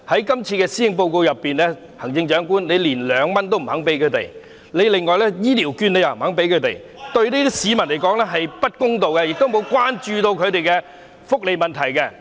在這份施政報告中，行政長官卻未有向他們提供2元的乘車優惠及醫療券，對這批市民來說並不公道，因為未有關注他們的福利問題。